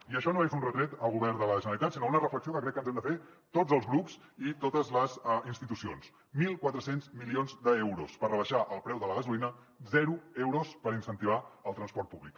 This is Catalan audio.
i això no és un retret al govern de la generalitat sinó una reflexió que crec que ens hem de fer tots els grups i totes les institucions mil quatre cents milions d’euros per rebaixar el preu de la gasolina zero euros per incentivar el transport públic